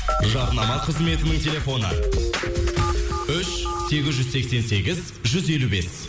жарнама қызметінің телефоны үш сегіз жүз сексен сегіз жүз елу бес